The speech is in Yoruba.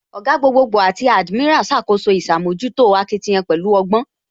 Ògá, gbogboogbo àti admiral ṣàkóso ìṣàmójútó akitiyan pẹ̀lú ọgbọ́